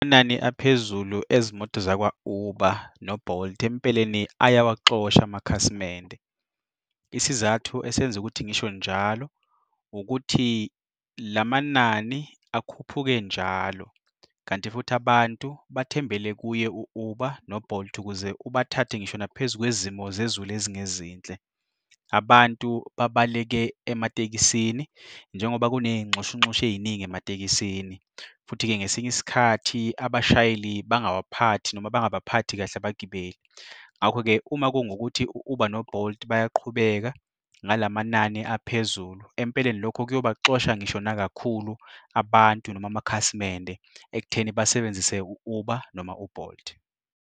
Amanani aphezulu ezimoto zakwa-Uber no-Bolt, empeleni ayawaxosha amakhasimende. Isizathu esenza ukuthi ngisho njalo ukuthi lamanani akhuphuke njalo, kanti futhi abantu bathembele kuye u-Uber no-Bolt ukuze ubathathe ngisho naphezu kwezimo zezulu ezingezinhle. Abantu babaleke ematekisini njengoba kuney'nxushunxushu ey'ningi ematekisini, futhi-ke ngesinye isikhathi abashayeli bangawaphathi noma bangabaphathi kahle abagibeli. Ngakho-ke, uma kungukuthi u-Uber no-Bolt bayaqhubeka ngalamanani aphezulu, empeleni lokho kuyobaxosha ngisho nakakhulu abantu noma amakhasimende ekutheni basebenzise u-Uber noma u-Bolt.